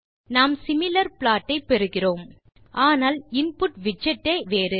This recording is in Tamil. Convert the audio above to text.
நாம் சிமிலர் ப்ளாட் ஐ பெறுகிறோம் ஆனால் இன்புட் விட்ஜெட் ஏ வேறு